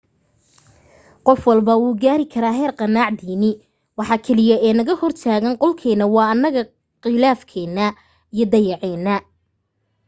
qof walba wuu gaari karaa heer qanaac diini waxa kaliya ee naga hortaagan goolkeena waa anaga qilaafkena iyo dacaayadena